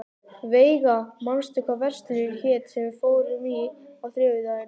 Veiga, manstu hvað verslunin hét sem við fórum í á þriðjudaginn?